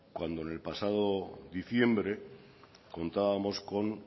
cuando en el pasado diciembre contábamos con